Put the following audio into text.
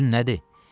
Sözün nədir?